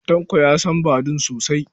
Tanko ya san Badun sosa.